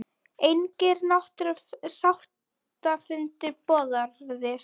Engir sáttafundir boðaðir